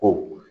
Ko